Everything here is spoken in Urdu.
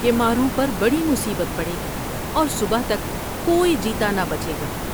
کے ماروں پر بڑی مصیبت پڑے گی اور صبح تک کوئی جیتا نہ بچے گا ۔